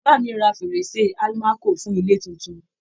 Bàbá mi ra fèrèsé almaco fún ilé tuntun.